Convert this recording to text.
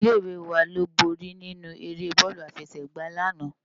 Ilé iwé wá ló bóri ninú éré bòlú àfèsègbá làná